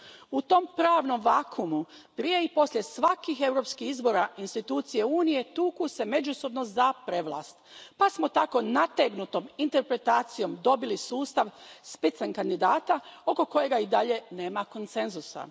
U tom pravnom vakuumu prije i poslije svakih europskih izbora institucije Unije tuku se međusobno za prevlast pa smo tako nategnutom interpretacijom dobili sustav Spitzenkandidata oko kojega i dalje nema konsenzusa.